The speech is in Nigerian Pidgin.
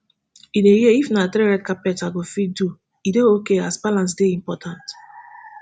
in a year if na three red carpets i go fit do e dey okay as balance dey important